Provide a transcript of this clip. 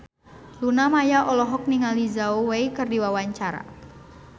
Luna Maya olohok ningali Zhao Wei keur diwawancara